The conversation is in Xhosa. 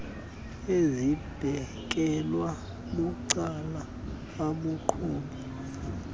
ezibekelwe bucala abaqhubi